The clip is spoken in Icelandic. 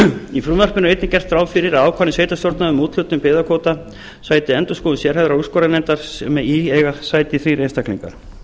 í frumvarpinu er einnig gert ráð fyrir að ákvarðanir sveitarstjórna um úthlutun byggðakvóta sæti endurskoðun sérhæfðrar úrskurðarnefndar sem í eiga sæti þrír einstaklingar